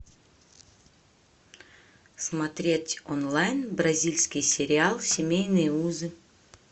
смотреть онлайн бразильский сериал семейные узы